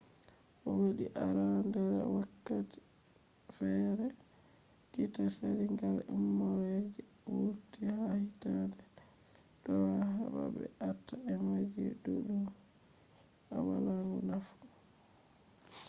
wodi arandere wakati feere je kitta sali gal umrore je wurti ha hittande 2003 heɓa ɓe aata emelji ɗuɗɗum je wala nafu